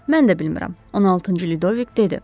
Mən də bilmirəm, 16-cı Lüdoviq dedi.